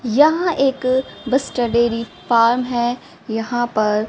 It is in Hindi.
यहां एक बस्तर डेयरी फॉर्म है यहां पर--